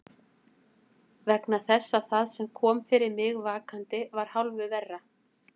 Vegna þess að það sem kom fyrir mig vakandi var hálfu verra.